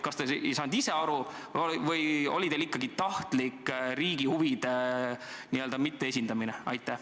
Kas te ei saanud ise aru või oli teil ikkagi tahtlik riigi huvide n-ö mitteesindamine?